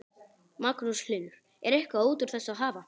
Magnús Hlynur: Er eitthvað út úr þessu að hafa?